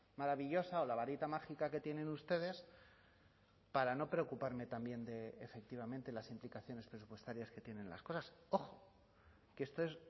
maravillosa o la varita mágica que tienen ustedes para no preocuparme también de efectivamente las implicaciones presupuestarias que tienen las cosas ojo que esto es